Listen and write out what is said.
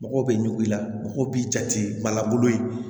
Mɔgɔw bɛ ɲugu i la mɔgɔw b'i jate balan bolo in